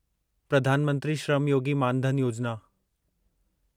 प्रधान मंत्री श्रम योगी मान धन योजिना